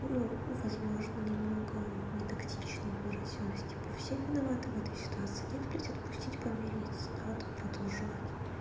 ну возможно немного нетактично выразилась типа все виноваты в этой ситуации нет блять отпустить помириться надо продолжать